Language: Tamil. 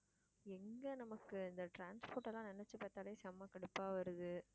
எங்க நமக்கு இந்த transport எல்லாம் நினைச்சு பார்த்தாலே செம கடுப்பா வருது.